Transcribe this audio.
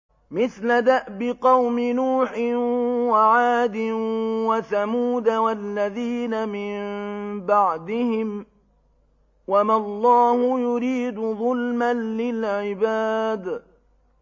مِثْلَ دَأْبِ قَوْمِ نُوحٍ وَعَادٍ وَثَمُودَ وَالَّذِينَ مِن بَعْدِهِمْ ۚ وَمَا اللَّهُ يُرِيدُ ظُلْمًا لِّلْعِبَادِ